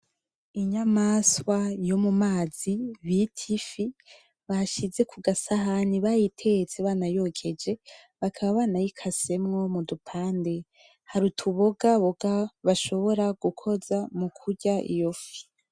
Inyamaswa yomumazi bita ifi , bayishize kugasahani bayitetse bakaba banayokeje bakaba bayikasemwo mudupande , hari utu bogaboga bashobora gukoza mukurya iyo fi .